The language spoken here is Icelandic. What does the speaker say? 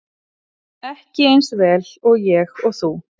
Ekki eins vel og ég og þú.